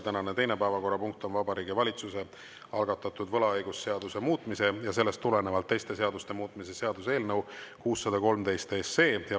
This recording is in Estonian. Tänane teine päevakorrapunkt on Vabariigi Valitsuse algatatud võlaõigusseaduse muutmise ja sellest tulenevalt teiste seaduste muutmise seaduse eelnõu 613.